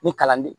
Ni kalan de